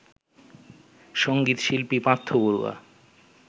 সঙ্গীত শিল্পী পার্থ বড়ুয়া